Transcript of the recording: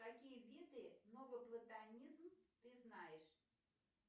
какие виды новоплатонизм ты знаешь